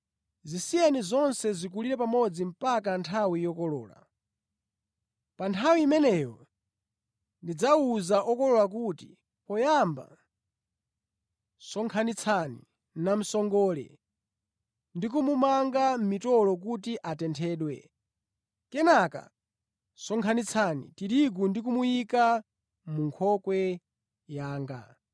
Zisiyeni zonse zikulire pamodzi mpaka nthawi yokolola. Pa nthawi imeneyo ndidzawuza okolola kuti: Poyamba sonkhanitsani namsongole ndi kumumanga mʼmitolo kuti atenthedwe, kenaka sonkhanitsani tirigu ndi kumuyika mʼnkhokwe yanga.’ ”